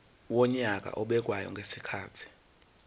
wonyaka obekwayo ngezikhathi